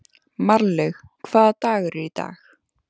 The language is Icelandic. Marlaug, hvaða dagur er í dag?